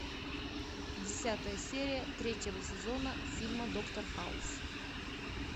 десятая серия третьего сезона фильма доктор хаус